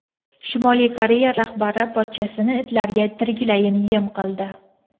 Shimoliy Koreya rahbari pochchasini itlarga tiriklayin yem qildi.